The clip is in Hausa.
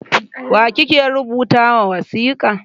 Wa kike rubuta ma wasika?